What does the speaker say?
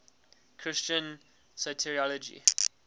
christian soteriology